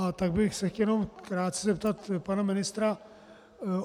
A tak bych se chtěl jenom krátce zeptat pana ministra.